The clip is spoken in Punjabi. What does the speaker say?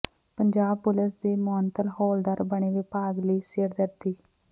ਪੰਜਾਬ ਪੁਲਸ ਦੇ ਮੁਅੱਤਲ ਹੌਲਦਾਰ ਬਣੇ ਵਿਭਾਗ ਲਈ ਸਿਰਦਰਦੀ